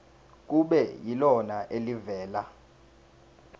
kube yilona elivela